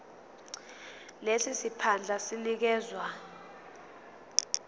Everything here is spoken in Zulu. lesi siphandla sinikezwa